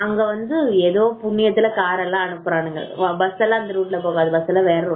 ஆமா அங்க வந்து ஏதோ புண்ணியத்துல கார் எல்லாம் அனுப்புறாங்க பஸ்ஸெல்லாம் அந்த ரூட்ல போகாது பஸ்ஸெல்லாம் வேற ரூட்ல போகுது